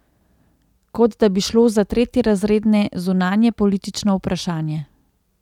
Kot da bi šlo za tretjerazredne zunanjepolitično vprašanje.